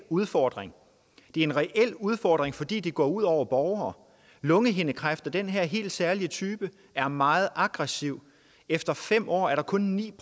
udfordring det er en reel udfordring fordi det går ud over borgere lungehindekræft af den her helt særlige type er meget aggressiv efter fem år er der kun ni